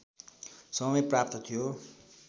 समय प्राप्त थियो